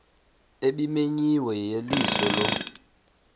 ebimenyiwe yeyeliso lo